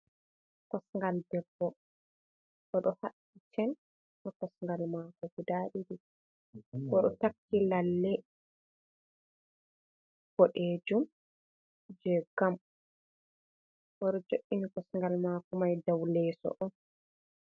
kosngal debbo o ɗo haɓɓi cen haa kosngal maako guda ɗiɗi.O ɗo takki lalle boɗeejum jey gam, o ɗo jo''ini kosngal maako may daw leeso on.